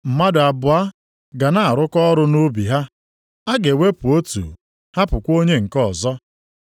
Mmadụ abụọ ga na-arụkọ ọrụ nʼubi ha, a ga-ewepụ otu hapụkwa onye nke ọzọ.